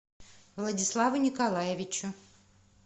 владиславу николаевичу